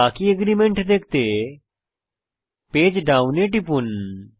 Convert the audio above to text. বাকি এগ্রিমেন্ট দেখতে page down করুন